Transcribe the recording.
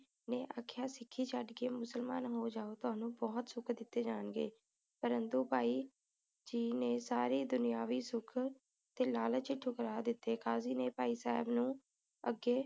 ਨੇ ਆਖਿਆ ਸੀ ਸਿੱਖੀ ਛੱਡ ਕੇ ਮੁਸਲਮਾਨ ਹੋ ਜਾਓ ਤੁਹਾਨੂੰ ਬੋਹੋਤ ਸੁਖ ਦਿਤੇ ਜਾਣਗੇ ਪਰੰਤੂ ਭਾਈ ਜੀ ਨੇ ਸਾਰੇ ਦੁਨਿਆਵੀ ਸੁਖ ਤੇ ਲਾਲਚ ਨੂੰ ਠੁਕਰਾ ਦਿਤੇ ਕਾਜੀ ਨੇ ਭਾਈ ਸਾਹਿਬ ਨੂੰ ਅੱਗੇ